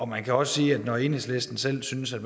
man kan også sige at når selv enhedslisten synes at